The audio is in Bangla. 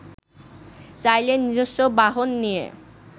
চাইলে নিজস্ব বাহন নিয়ে